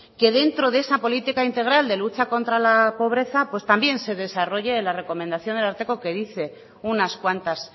que dentro de esa política integral de lucha contra la pobreza pues también se desarrolle la recomendación del ararteko que dice unas cuantas